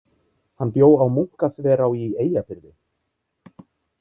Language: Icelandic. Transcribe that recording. Hann bjó á Munkaþverá í Eyjafirði.